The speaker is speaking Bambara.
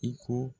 I ko